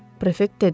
prefekt dedi.